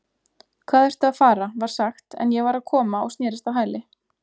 Hvað ertu að fara var sagt en ég var að koma og snerist á hæli